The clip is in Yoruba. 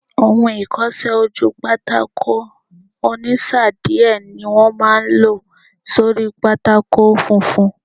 Ohun ìkọsẹ́-ojúpátákó ònísáà díẹ̀ ní wọ́n máa n lò sórí pátákó funfun